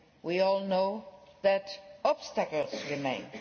We all know that obstacles remain.